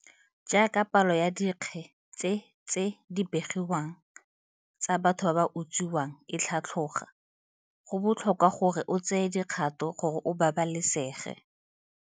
Jaaka palo ya dikge tse tse di begiwang tsa batho ba ba utswiwang e tlhatloga, go botlhokwa gore o tseye dikgato gore o babalesege.